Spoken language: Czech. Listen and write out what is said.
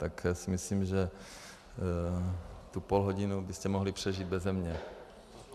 Tak si myslím, že tu půlhodinu byste mohli přežít beze mě.